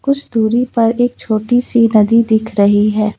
कुछ दुरी पर एक छोटी सी नदी दिख रही है।